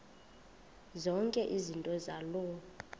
zonke izinto zaloo